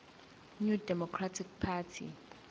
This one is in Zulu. new democratic party